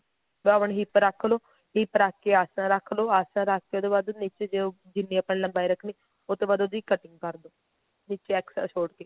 double hip ਰੱਖਲੋ hip ਰੱਖ ਕੇ ਆਸਣ ਰੱਖਲੋ ਆਸਣ ਰੱਖ ਕੇ ਉਹ ਤੋਂ ਬਾਅਦ ਤੁਸੀਂ ਜਿੰਨੀ ਜਿੰਨੀ ਆਪਣੀ ਲੰਬਾਈ ਰੱਖਨੀ ਆ ਉਹ ਤੋਂ ਬਾਅਦ ਉਹਦੀ cutting ਕਰਦੋ ਨੀਚੇ extra ਛੋੜ ਕੇ